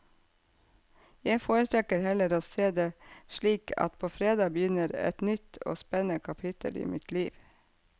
Jeg foretrekker heller å se det slik at på fredag begynner et nytt og spennende kapittel av mitt liv.